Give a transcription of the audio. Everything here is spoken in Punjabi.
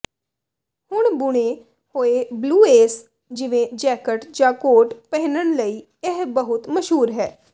ਹੁਣ ਬੁਣੇ ਹੋਏ ਬਲੂਏਜ਼ ਜਿਵੇਂ ਜੈਕਟ ਜਾਂ ਕੋਟ ਪਹਿਨਣ ਲਈ ਇਹ ਬਹੁਤ ਮਸ਼ਹੂਰ ਹੈ